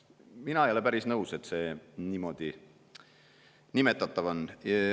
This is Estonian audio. Mina ei ole päris nõus, et see niimoodi nimetatav on.